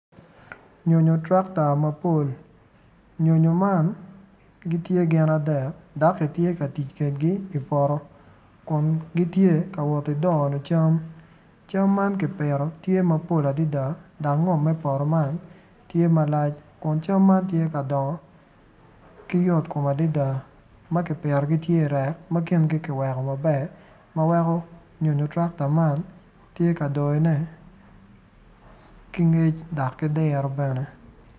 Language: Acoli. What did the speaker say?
Nyonyo tractor mapol gitye gin adek dok kitye ka tic kwede i poto kun gitye ka wot ki doyo cam camme kipito mapol adada dok ngom me poto man tye malac kun cam man tye ka dongo ma komgi yot adada ma kipito kingi tye i reck maber.